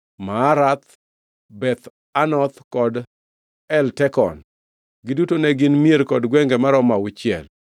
Maarath, Beth Anoth kod Eltekon. Giduto ne gin mier kod gwenge maromo auchiel.